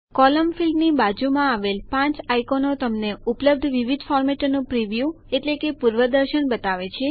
column ફીલ્ડની બાજુમાં આવેલ પાંચ આઈકોનો તમને ઉપલબ્ધ વિવિધ ફોર્મેટોનું પ્રિવ્યુ એટલે કે પૂર્વદર્શન બતાવે છે